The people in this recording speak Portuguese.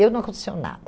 Eu não aconteceu nada.